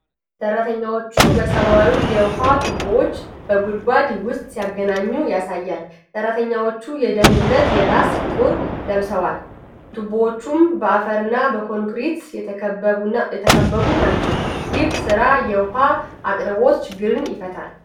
ሰራተኞች ሰማያዊ የውሃ ቱቦዎችን በጉድጓድ ውስጥ ሲያገናኙ ያሳያል። ሠራተኞቹ የደህንነት የራስ ቁር ለብሰዋል፣ ቱቦዎቹም በአፈርና በኮንክሪት የተከበቡ ናቸው። ይህ ሥራ የውሃ አቅርቦት ችግርን ይፈታል?